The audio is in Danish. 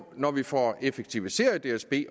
når vi får effektiviseret dsb